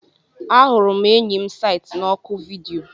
Ahụrụ m enyi m site na oku vidiyo.